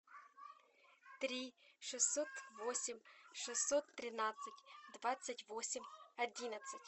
три шестьсот восемь шестьсот тринадцать двадцать восемь одиннадцать